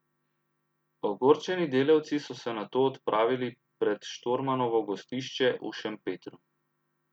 Ogorčeni delavci so se nato odpravili pred Štormanovo gostišče v Šempetru.